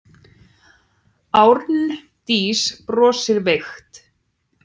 Arndís brosir veikt.